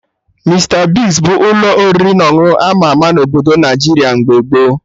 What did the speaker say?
Mista Bigz bụ ụlọ oriri na ọṅụṅụ ama ama na Obodo Naijiria mgbe gboo